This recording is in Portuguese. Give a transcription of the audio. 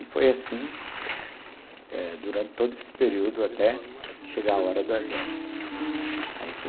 E foi assim eh durante todo esse período até chegar a hora do exército.